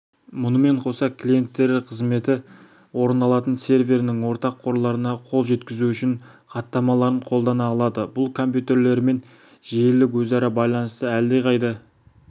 мұнымен қоса клиенттері қызметі орындалатын серверінің ортақ қорларына қол жеткізу үшін хаттамаларын қолдана алады бұл компьютерлерімен желілік өзара байланысты әлдеқайда